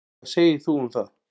Hvað segir þú um það?